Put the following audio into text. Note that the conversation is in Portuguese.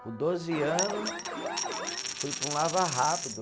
Com doze ano, fui para um lava rápido.